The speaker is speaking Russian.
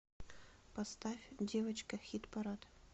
поставь девочка хит парад